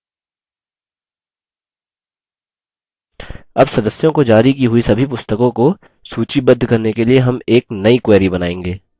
अब सदस्यों को जारी की हुई सभी पुस्तकों को सूचीबद्ध करने के लिए हम एक now query बनाएँगे